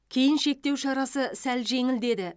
кейін шектеу шарасы сәл жеңілдеді